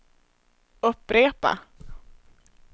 upprepa